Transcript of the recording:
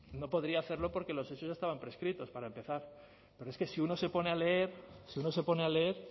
no podría hacerlo porque los hechos ya estaban prescritos para empezar pero es que si uno se pone a leer si uno se pone a leer